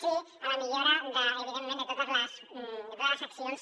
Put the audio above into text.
sí a la millora evidentment de totes les accions